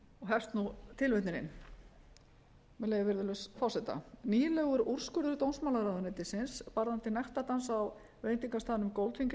hefst nú tilvitnunin með leyfi virðulegs forseta nýlegur úrskurður dómsmálaráðuneytisins varðandi nektardans á veitingastaðnum goldfinger í